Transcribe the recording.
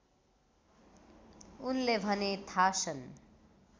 उनले भने थासन